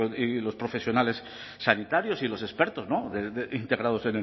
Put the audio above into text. y los profesionales sanitarios y los expertos integrados